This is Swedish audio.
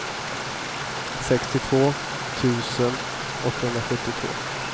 sextiotvå tusen åttahundrasjuttioåtta